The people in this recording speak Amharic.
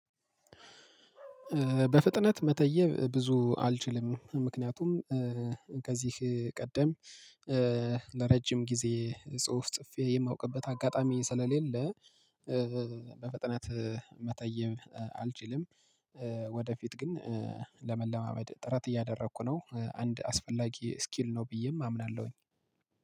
በፍጥነት መተየብ ብዙ አልችልም ምክንያቱም ከዚህ ቀደም ለረጅም ጊዜ ጽሁፍ ጽፌ የማውቅበት አጋጣሚ ስለሌለ በፈጠነት መተየብ አልችልም። ወደፊት ግን ለመለማመድ ጥረት እያደረኩ ነው አንድ አስፈላጊ ስኪል ነው ብዬም አምናለሁኝ።